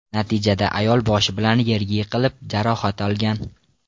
Natijada ayol boshi bilan yerga yiqilib, jarohat olgan.